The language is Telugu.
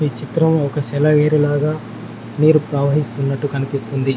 చిత్రం ఒక సెలయేరు లాగా నీరు ప్రవహిస్తున్నట్లు కనిపిస్తుంది.